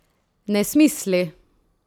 Nesmisli?